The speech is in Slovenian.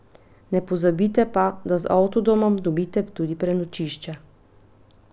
Ne pozabite pa, da z avtodomom dobite tudi prenočišče.